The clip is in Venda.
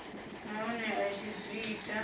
nahone a tshi zwi ita